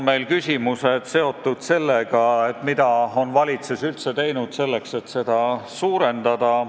Me küsime, mida on valitsus üldse teinud selle suurendamiseks.